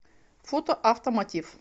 фото автомотив